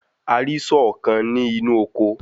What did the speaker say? A rí sọ́ọ̀ kan ní inú oko.